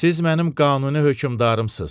Siz mənim qanuni hökmdarımsınız.